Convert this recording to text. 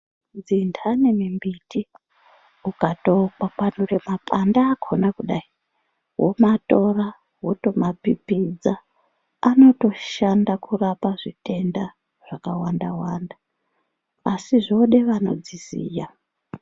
Dzinhani mimbiti ukatokwakwanure mapande akona kudai womatora wotomapipidza anotoshanda kurape zvitenda zvakawanda wanda asi zvode vanodziziya.